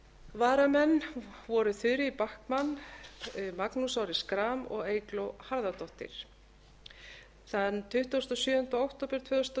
varamenn voru þuríður backman magnús orri schram og eygló harðardóttir þann tuttugasta og sjöunda október tvö þúsund og